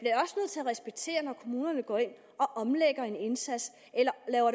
respektere kommuner går ind og omlægger en indsats eller laver